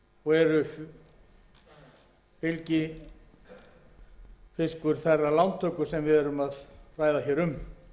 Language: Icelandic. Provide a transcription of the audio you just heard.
og er fylgifiskur þeirrar lántöku sem við erum að ræða um